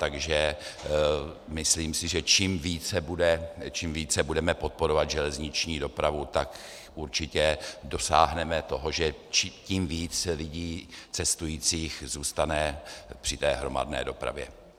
Takže si myslím, že čím více budeme podporovat železniční dopravu, tak určitě dosáhneme toho, že tím víc lidí, cestujících, zůstane při té hromadné dopravě.